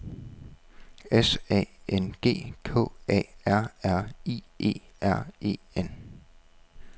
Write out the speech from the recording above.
S A N G K A R R I E R E N